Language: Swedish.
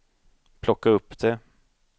plocka upp det